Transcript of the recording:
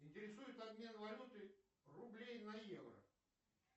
интересует обмен валюты рублей на евро